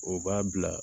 O b'a bila